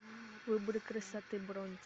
выбор красоты бронь